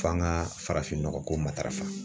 F'an ka farafinnɔgɔko matarafa.